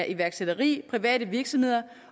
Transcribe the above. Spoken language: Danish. iværksætteri private virksomheder